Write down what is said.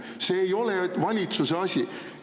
See ei ole valitsuse asi!